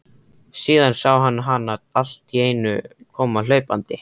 Síðan sá hann hana alltíeinu koma hlaupandi.